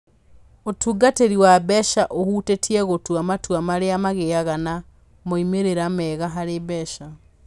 Ũtungatĩri wa mbeca ũhutĩtie gũtua matua marĩa magĩaga na moimĩrĩro mega harĩ mbeca.